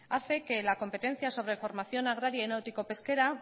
hace que la competencia sobre formación agraria y náutico pesquera